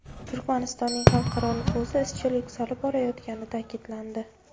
Turkmanistonning xalqaro nufuzi izchil yuksalib borayotgani ta’kidlandi.